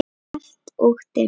Kalt og dimmt.